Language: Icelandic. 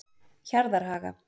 Hjarðarhaga